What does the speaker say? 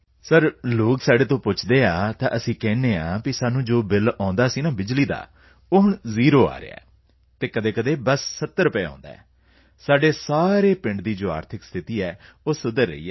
sir ਲੋਕ ਸਾਡੇ ਤੋਂ ਪੁੱਛਦੇ ਹਨ ਤਾਂ ਅਸੀਂ ਕਹਿੰਦੇ ਹਾਂ ਕਿ ਸਾਨੂੰ ਜੋ ਬਿਲ ਆਉਂਦਾ ਸੀ ਬਿਜਲੀ ਬਿਲ ਉਹ ਹੁਣ ਜ਼ੀਰੋ ਆ ਰਿਹਾ ਹੈ ਅਤੇ ਕਦੇ 70 ਰੁਪਏ ਆਉਂਦਾ ਹੈ ਪਰ ਸਾਡੇ ਪੂਰੇ ਪਿੰਡ ਵਿੱਚ ਜੋ ਆਰਥਿਕ ਸਥਿਤੀ ਹੈ ਉਹ ਸੁਧਰ ਰਹੀ ਹੈ